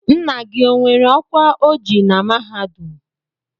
Nna gị o nwere ọkwa o ji na mahadum?